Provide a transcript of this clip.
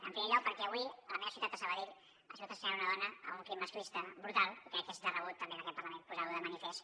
en primer lloc perquè avui a la meva ciutat de sabadell ha sigut assassinada una dona amb un crim masclista brutal i crec que és de rebut també en aquest parlament posar·ho de manifest